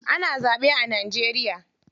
Ana zaɓe a Najeriya.